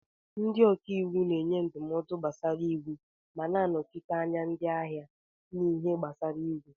Ndị ọka iwu na-enye ndụmọdụ gbasara iwu ma na-anọchite anya ndị ahịa n'ihe gbasara iwu.